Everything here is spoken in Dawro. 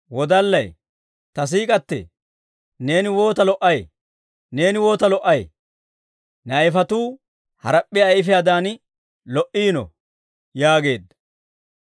Ta siik'k'atee, neeni waata lo"ay! Neeni waata lo"ay! Ne ayifetuu harap'p'iyaa ayfiyaadan lo"iino yaageedda.